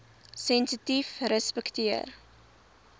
sensitiefrespekteer